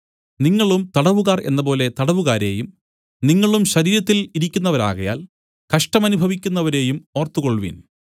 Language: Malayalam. നിങ്ങളും തടവുകാർ എന്നപോലെ തടവുകാരെയും നിങ്ങളും ശരീരത്തിൽ ഇരിക്കുന്നവരാകയാൽ കഷ്ടമനുഭവിക്കുന്നവരെയും ഓർത്തുകൊൾവിൻ